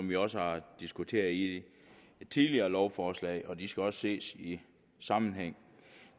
vi også diskuteret i tidligere lovforslag og de skal også ses i sammenhæng